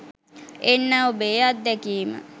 එන්න ඔබේ අත්දැකීම